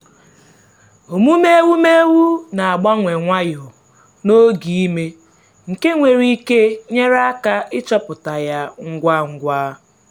omume ewumewụ na-agbanwe nwayọ n’oge ime nke nwere ike nyere aka ịchọpụta ya ngwa ngwa.